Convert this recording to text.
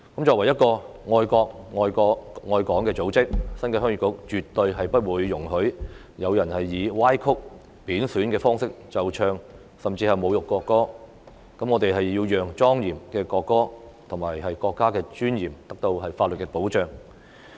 作為愛國愛港的組織，新界鄉議局絕對不會容許有人以歪曲、貶損的方式奏唱，甚至侮辱國歌，我們要讓莊嚴的國歌及國家的尊嚴得到法律的保障。